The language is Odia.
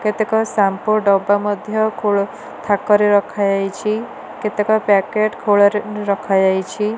କେତେକ ସାମ୍ପୁ ଡବା ମଧ୍ଯ ଖୋଳ ଥାକରେ ରଖାଯାଇଛି କେତେକ ପ୍ୟାକେଟ୍ ଖୋଳରେ ରଖାଯାଇଛି।